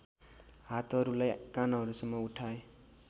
हातहरूलाई कानहरूसम्म उठाए